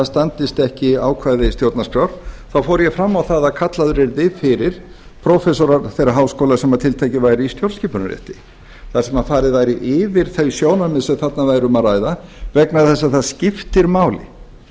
standist ekki ákvæði stjórnarskrár þá fór ég fram á að kallaðir yrðu fyrir prófessorar þeirra háskóla sem tiltekið væri í stjórnskipunarrétti þar sem farið væri yfir þau sjónarmið sem þarna væri um að ræða vegna þess að það skiptir máli